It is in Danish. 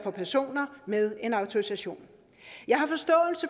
personer med en autorisation jeg